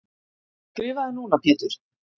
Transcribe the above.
Skrifaðu núna Pétur.